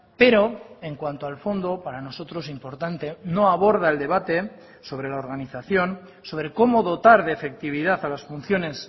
pero en cuanto al fondo para nosotros importante no aborda el debate sobre la organización sobre cómo dotar de efectividad a las funciones